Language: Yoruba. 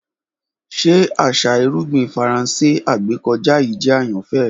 Ṣe aṣa irugbin Faranse agbekọja yii jẹ ayanfẹ rẹ?